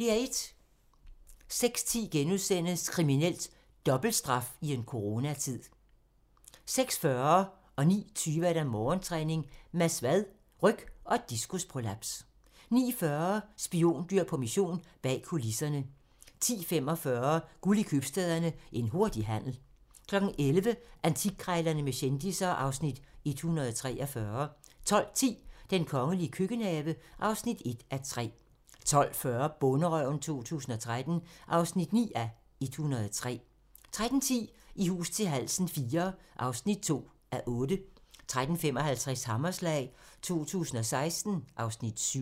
06:10: Kriminelt: Dobbelt straf i en coronatid * 06:40: Morgentræning: Mads Vad - ryg og diskusprolaps 09:20: Morgentræning: Mads Vad - ryg og diskusprolaps 09:40: Spiondyr på mission - bag kulisserne 10:45: Guld i købstæderne - En hurtig handel 11:00: Antikkrejlerne med kendisser (Afs. 143) 12:10: Den kongelige køkkenhave (1:3) 12:40: Bonderøven 2013 (9:103) 13:10: I hus til halsen IV (2:8) 13:55: Hammerslag 2016 (Afs. 7)